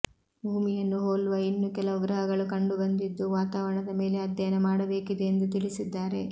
ಭೂಮಿಯನ್ನು ಹೋಲುವ ಇನ್ನು ಕೆಲವು ಗ್ರಹಗಳು ಕಂಡುಬಂದಿದ್ದು ವಾತಾವರಣದ ಮೇಲೆ ಅಧ್ಯಯನ ಮಾಡಬೇಕಿದೆ ಎಂದು ತಿಳಿಸಿದ್ದಾರೆ